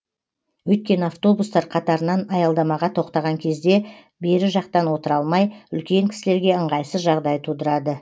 өйткені автобустар қатарынан аялдамаға тоқтаған кезде бері жақтан отыра алмай үлкен кісілерге ыңғайсыз жағдай тудырады